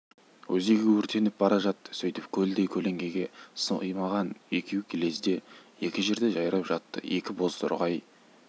өзегі өртеніп бара жатты сөйтіп көлдей көлеңкеге сыймаған екеу лезде екі жерде жайрап жатты екі бозторғай